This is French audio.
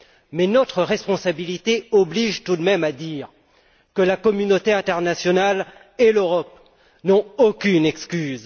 Mais notre responsabilité oblige tout de même à dire que la communauté internationale et l'Europe n'ont aucune excuse.